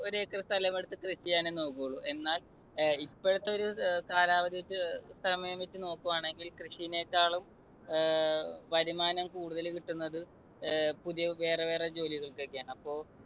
ഒരു ഏക്കർ സ്ഥലമെടുത്ത് കൃഷി ചെയ്യാനേ നോക്കൂള്ളു. എന്നാൽ ഏർ ഇപ്പോഴത്തെ ഒരു നോക്കുവാണെങ്കിൽ കൃഷീനേക്കാളും വരുമാനം കൂടുതൽ കിട്ടുന്നത് അഹ് പുതിയ വേറെ വേറെ ജോലികൾക്കൊക്കെയാണ്. അപ്പൊ